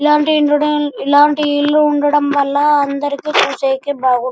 ఇలాంటి ఇల్లు ఇలాంటి ఇల్లులు ఉండడం వల్ల అందరికి చూసేకి బాగుంటు --